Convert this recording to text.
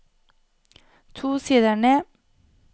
To sider ned